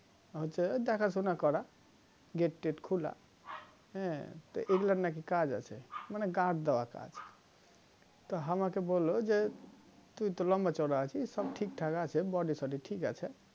হচ্ছে দেখাশোনা করা gate টেট খোলা হ্যা তা এগুলার নাকি কাজ আছে মানে guard দেওয়া কাজ তো আমাকে বললো যে তুই তো লম্ব্বা চওড়া আছিস সব ঠিকঠাক আছে body সোডি ঠিক আছে